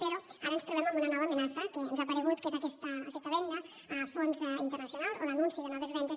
però ara ens trobem amb una nova amenaça que ens ha aparegut que és aquesta venda a fons internacionals o l’anunci de noves vendes